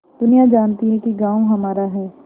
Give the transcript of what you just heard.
दुनिया जानती है कि गॉँव हमारा है